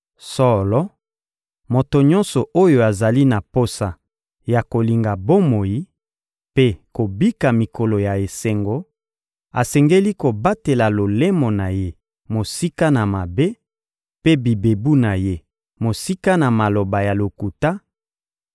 Solo, moto nyonso oyo azali na posa ya kolinga bomoi mpe kobika mikolo ya esengo asengeli kobatela lolemo na ye mosika na mabe, mpe bibebu na ye mosika na maloba ya lokuta;